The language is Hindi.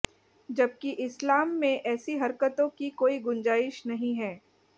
जबकि इस्लाम में ऐसी हरकतों की कोर्ई गुंजाइश नहीं है